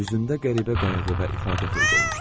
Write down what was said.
Üzündə qəribə qayğı və ifadə peyda olmuşdu.